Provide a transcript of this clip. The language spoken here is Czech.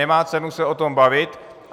Nemá cenu se o tom bavit.